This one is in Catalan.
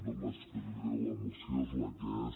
no m’hi estendré la moció és la que és